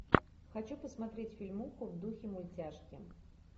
хочу посмотреть фильмуху в духе мультяшки